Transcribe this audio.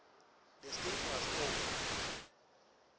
the status of